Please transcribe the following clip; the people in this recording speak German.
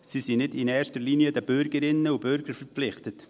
sie sind nicht in erster Linie den Bürgerinnen und Bürgern verpflichtet.